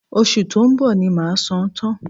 Oṣù tó ń bọ̀ ni màá san án tán